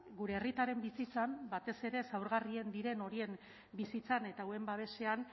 gure herritarren bizitzan batez ere zaurgarrien diren horien bizitzan eta hauen babesean